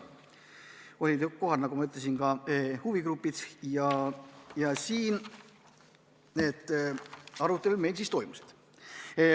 Olid kohal, nagu ma ütlesin, ka huvigrupid.